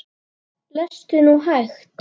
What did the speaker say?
Lestu nú hægt!